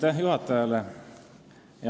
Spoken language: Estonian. Hea juhataja!